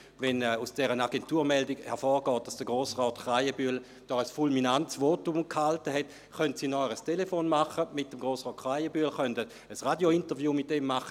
Wenn aus der Agenturmeldung hervorgeht, dass Grossrat Krähenbühl hier ein fulminantes Votum gehalten hat, können sie ein Telefonat mit Grossrat Krähenbühl führen und ein Radio-Interview machen;